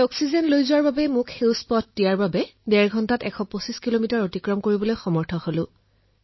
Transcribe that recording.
এই oxygen rail চলোৱাৰ বাবে মোক গ্ৰীণ ছিগনেল দিয়া হৈছিল এই গাড়ী ১২৫ কিলোমিটাৰ প্ৰতি ঘণ্টাত চলাই ডেৰ ঘণ্টাত গন্তব্যস্থল পাইছিলো